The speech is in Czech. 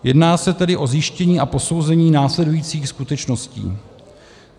Jedná se tedy o zjištění a posouzení následujících skutečností: